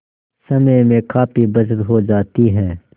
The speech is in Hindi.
समय में काफी बचत हो जाती है